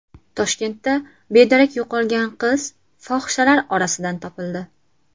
Toshkentda bedarak yo‘qolgan qiz fohishalar orasidan topildi.